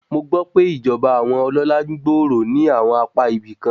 Mo gbọ́ pé ìjọba àwọn ọlọ́lá ń gbòòrò ní àwọn apá ibìkan.